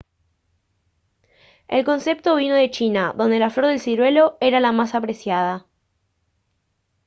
el concepto vino de china donde la flor del ciruelo era la más apreciada